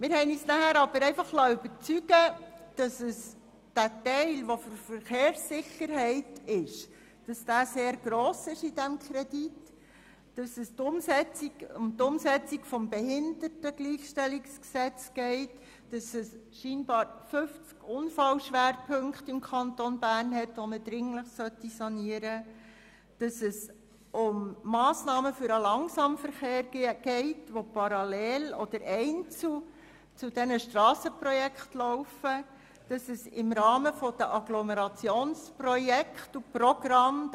Wir liessen uns aber davon überzeugen, dass der in diesem Rahmenkredit enthaltene, für die Verkehrssicherheit vorgesehene Teil sehr gross ist, dass es um die Umsetzung des BehiG geht, dass sich im Kanton Bern anscheinend 50 Unfallschwerpunkte befinden, die dringend saniert werden sollten, dass es um Massnahmen für den Langsamverkehr geht, die parallel oder einzeln zu den Strassenprojekten laufen, und dass es um Agglomerationsprojekte und programme geht.